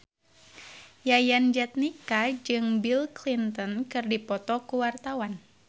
Yayan Jatnika jeung Bill Clinton keur dipoto ku wartawan